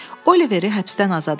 Oiveri həbsdən azad etdilər.